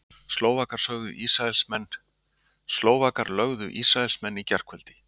Slóvakar lögðu Ísraelsmenn í gærkvöldi